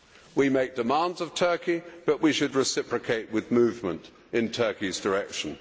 We make demands of Turkey but we should reciprocate with movement in Turkey's direction.